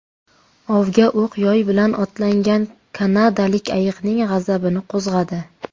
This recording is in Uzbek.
Ovga o‘q-yoy bilan otlangan kanadalik ayiqning g‘azabini qo‘zg‘adi .